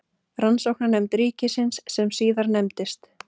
Rannsóknanefnd ríkisins, sem síðar nefndist